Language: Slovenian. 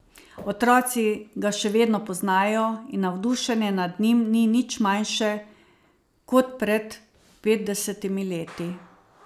Otroci ga še vedno poznajo in navdušenje nad njim ni nič manjše kot pred petdesetimi leti.